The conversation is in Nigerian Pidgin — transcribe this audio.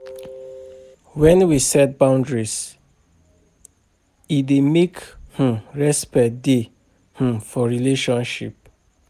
When we set boundaries, e dey make um respect dey um for relationship